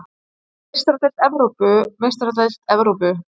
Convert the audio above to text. Meistaradeild Evrópu Meistaradeild Evrópu